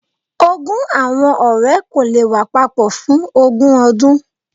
Ogún awọn ọrẹ ko le wa papọ fun ogun ọdun.